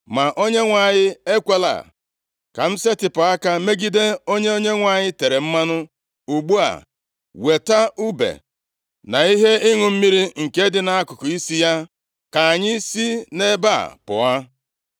Ma Onyenwe anyị ekwela ka m setịpụ aka megide onye Onyenwe anyị tere mmanụ. Ugbu a, weta ùbe na ihe ịṅụ mmiri nke dị nʼakụkụ isi ya, ka anyị si nʼebe a pụọ.”